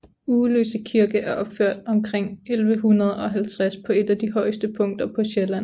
Uggeløse Kirke er opført omkring 1150 på et af de højeste punkter på Sjælland